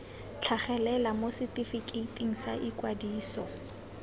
tlhagelela mo setefikeiting sa ikwadiso